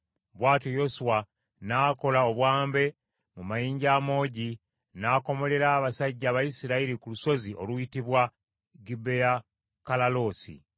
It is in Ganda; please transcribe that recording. Bw’atyo Yoswa n’akola obwambe mu mayinja amoogi n’akomolera abasajja Abayisirayiri ku lusozi oluyitibwa Gibeyakalaloosi.